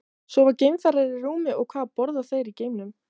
Sofa geimfarar í rúmi og hvað borða þeir í geimnum?